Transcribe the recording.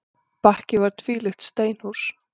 Bakki var tvílyft steinhús.